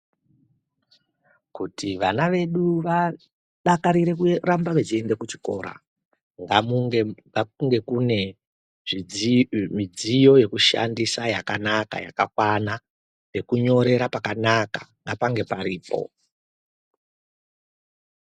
Kuti vana vedu vadakarire kuramba vechienda kuchikora ngakunge kune midziyo yekushandisa yakanaka yakakwana pekunyorera pakanaka ngapange paripo.